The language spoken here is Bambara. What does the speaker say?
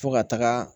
Fo ka taga